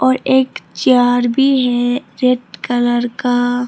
और एक चेयर भी है रेड कलर का।